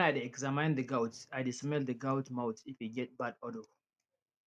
when i dey examine the goats i dey smell the goat mouth if e get bad odour